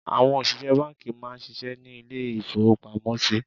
Àwọn òṣìṣẹ́ bánkì má a nsisé ní lé ìfowópamósí